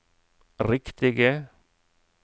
riktige